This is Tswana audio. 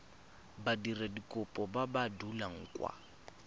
badiradikopo ba ba dulang kwa